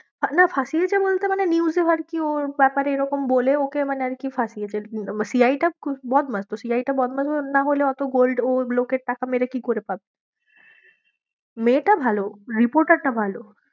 না ফাঁসিয়েছে বলতে মানে news এ আর কি ওর ব্যাপারে এরকম বলে ওকে মানে আর কি ফাঁসিয়েছে CID টা বদমাশ, তো CID টা বদমাশ নাহলে অতো gold ও লোকের টাকা মেরে কি করে পাবে? ও ওটাতে reporter টা ভালো।